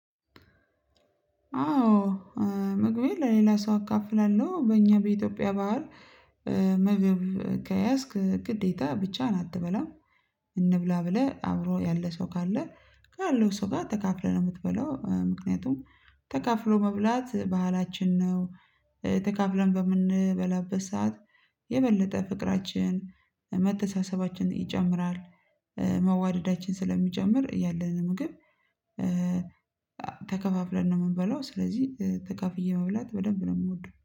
አዎ ምግቤ ለሌላ ሰው አካፍላለሁ በእኛ በኢትዮጵያ ባህል ምግብ ከያዝክ ግዴታ ብቻህን አትበላም። እንብላ ብለህ አብሮ ያለ ሰው ካለ ካለው ሰው ጋር ተካፍለህ ነው የምትበላው ምክንያቱም ተካፍሎ መብላት ባህላችን ነው። ተካፍለን በምንበላበት ሰዓት የበለጠ ፍቅራችን መተሳሰባችን ይጨምራል። መዋደዳችን ስለሚጨምር ያለንን ምግብ ተከፋፍለን ነው የምንበለው ስለዚህ ተካፍዬ መብላት በደንብ ነው የምወደው